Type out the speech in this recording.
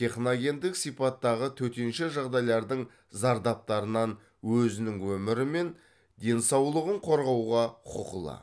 техногендік сипаттағы төтенше жағдайлардың зардаптарынан өзінің өмірі мен денсаулығын қорғауға құқылы